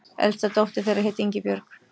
Elsta dóttir þeirra hét Ingibjörg.